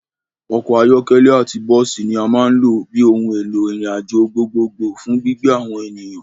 Ọkọ̀ ayọ́kẹ́lẹ́ àti bọ́ọ́sì ní a máa ń lò bíi ohùn èlò ìrìn àjò gbogbo gbò fún gbígbé àwọn ènìyàn.